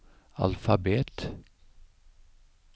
alfabet